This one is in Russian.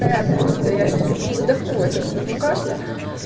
понятное чудо я ещё чуть не задохнулась от своего кашля